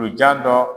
Donjan dɔ